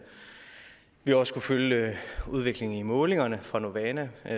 vi har også kunnet følge udviklingen i målingerne fra novana